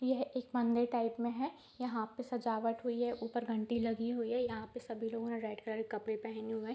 यह एक मंदिर टाइप में है यहाँ पर सजावट हुई है ऊपर घंटी लगी हुई है यहाँ पे सभी लोगों ने रेड कलर कपड़े पहने हुए हैं।